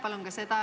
Aitäh!